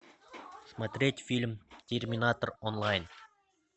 смотреть фильм терминатор онлайн